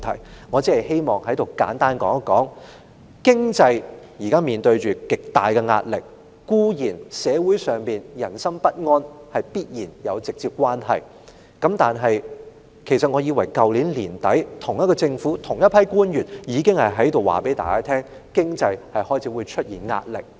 在此，我只希望簡單地說，經濟現正面對極大壓力，這固然與社會上人心不安有直接關係，但其實自去年年底，同一個政府的同一批官員已告訴大家，經濟開始會面臨壓力。